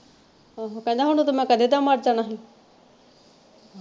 ਆਹੋ ਕਹਿੰਦਾ ਕਹਿੰਦਾ ਮੈਂ ਕਦੇ ਦਾ ਮਰ ਜਾਣਾ ਸੀ